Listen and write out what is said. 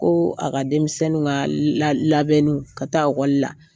Ko a ka denmisɛnninw ka la labɛnniw ka taa ekɔli la.